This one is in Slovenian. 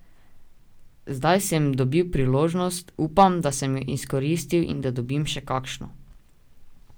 Zdaj sem dobil priložnost, upam, da sem jo izkoristil in da dobim še kakšno.